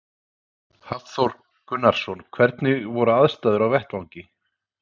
Hafþór Gunnarsson: Hvernig voru aðstæður á vettvangi?